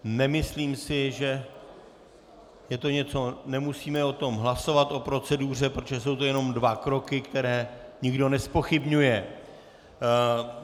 Nemyslím si, že je to něco - nemusíme o tom hlasovat, o proceduře, protože jsou to jenom dva kroky, které nikdo nezpochybňuje.